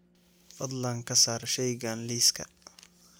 Fadlan ka saar shaygan liiska